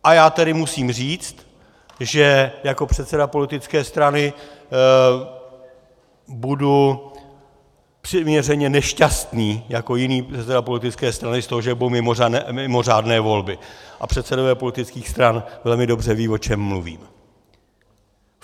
A já tady musím říct, že jako předseda politické strany budu přiměřeně nešťastný jako jiný předseda politické strany z toho, že budou mimořádné volby, a předsedové politických stran velmi dobře vědí, o čem mluvím.